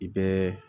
I bɛ